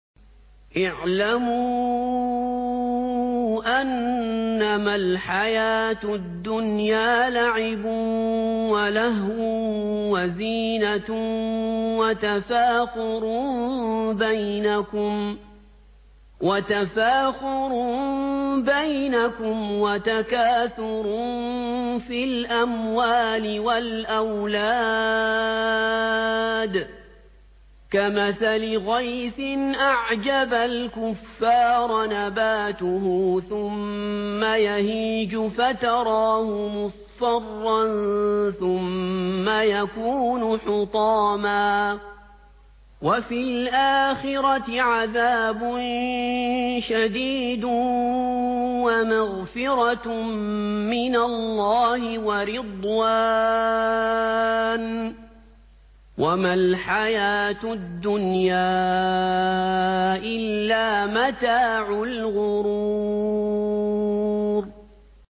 اعْلَمُوا أَنَّمَا الْحَيَاةُ الدُّنْيَا لَعِبٌ وَلَهْوٌ وَزِينَةٌ وَتَفَاخُرٌ بَيْنَكُمْ وَتَكَاثُرٌ فِي الْأَمْوَالِ وَالْأَوْلَادِ ۖ كَمَثَلِ غَيْثٍ أَعْجَبَ الْكُفَّارَ نَبَاتُهُ ثُمَّ يَهِيجُ فَتَرَاهُ مُصْفَرًّا ثُمَّ يَكُونُ حُطَامًا ۖ وَفِي الْآخِرَةِ عَذَابٌ شَدِيدٌ وَمَغْفِرَةٌ مِّنَ اللَّهِ وَرِضْوَانٌ ۚ وَمَا الْحَيَاةُ الدُّنْيَا إِلَّا مَتَاعُ الْغُرُورِ